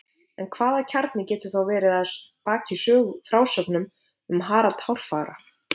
En hvaða kjarni getur þá verið að baki frásögnum um Harald hárfagra?